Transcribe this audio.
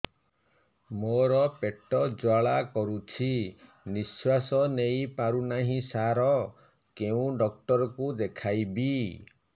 ମୋର ପେଟ ଜ୍ୱାଳା କରୁଛି ନିଶ୍ୱାସ ନେଇ ପାରୁନାହିଁ ସାର କେଉଁ ଡକ୍ଟର କୁ ଦେଖାଇବି